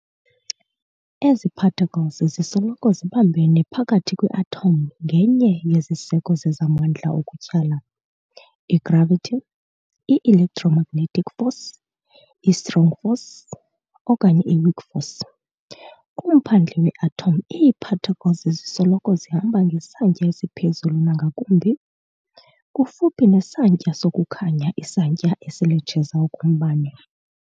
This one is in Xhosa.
Ezi-particles zisoloko zibambene phakathi kwi-atom ngenye yeziseko zezamandla okutyhala i-gravity, i-electromagnetic force, i-strong force, okanye i-weak force. Kumphandle we-atom ii-particles zisoloko zihamba ngesantya esiphezulu nangakumbi, kufuphi nesantya sokukhanya isantya esiletsheza okombane.